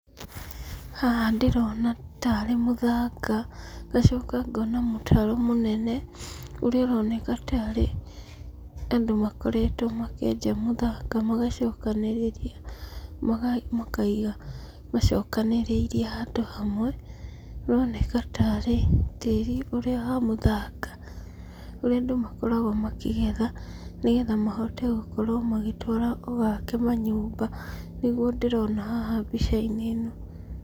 Haha ndĩrona tarĩ mũthanga, ngacoka ngona mũtaro mũnene, ũrĩa ũroneka tarĩ andũ makoretwo makĩenja mũthanga magacokanĩrĩria makaiga macokanĩrĩirie handũ hamwe. ũroneka tarĩ tĩri ũrĩa wa mũthanga ũrĩa andũ makoragwo makĩgetha nĩgetha mahote gũtwara ũgake manyũmba nĩguo ndĩrona haha mbica- inĩ ĩno.